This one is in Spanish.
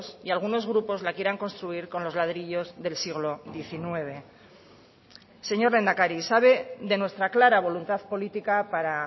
y algunos grupos la quieran construir con los ladrillos del siglo diecinueve señor lehendakari sabe de nuestra clara voluntad política para